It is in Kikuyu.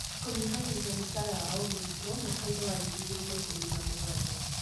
Kũnyihanyihia mũcara wa o mũrutwo (mwaka –inĩ wa ngiri igĩrĩ na ikũmi na mũgwanja).